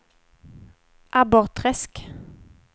Abborrträsk